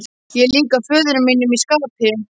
Er ég líkur föður mínum í skapi?